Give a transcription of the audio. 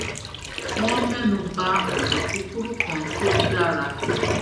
wón ménu ba ònà kúkurú kan tó dára